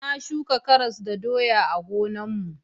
Na shuka karas da doya a gonar mu